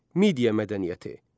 Media mədəniyyəti.